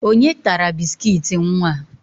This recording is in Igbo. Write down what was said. Onye tara biskit nwa?